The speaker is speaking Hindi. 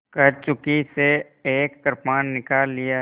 कंचुकी से एक कृपाण निकाल लिया